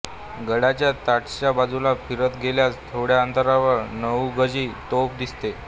गडाच्या तटाच्या बाजूने फिरत गेल्यास थोड्या अंतरावर नऊगजी तोफ दिसते